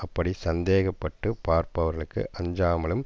அப்படி சந்தேகப்பட்டுப் பார்ப்பவர்களுக்கு அஞ்சாமலும்